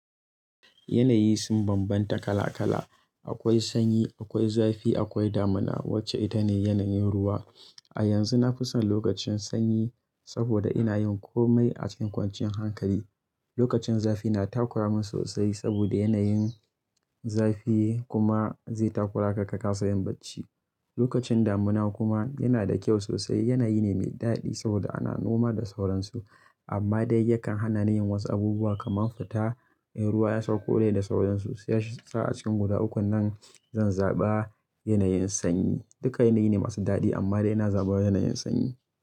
Yanayi sun bambanta kala kala. Akwai sanyi, akwai zafi, akwai damuna wacce ita ne yanayin ruwa. A yanzu na fi son lokacin sanyi saboda ina yin komai a cikin kwanciyan hankali. Lokacin zafi na takura min sosai saboda yanayin zafi kuma zai takura ka, ka kasa yin bacci. Lokacin damuna kuma yana da kyau sosai, yanayi ne mai dadi saboda ana noma da sauransu amma dai yakan hana ni yin wasu abubuwa kamar fita. In ruwa ya sauko dai da sauransu, sai yashi sa'a cikin guda uku nan zan zaɓa yanayin sanyi. Duka yanayi ne masu dadi amma dai na zaɓa yanayin sanyi.